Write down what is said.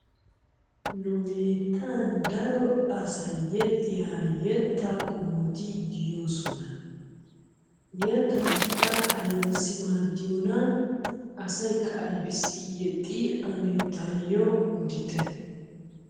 Nu bittanni daro asayi yexiyo yettaa qomotti de'osona. yetatikka aybassi madiyonnaa, asayikka aybissi yexxi tayo odditte.